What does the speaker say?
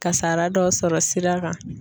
Kasara dɔ sɔrɔ sira kan.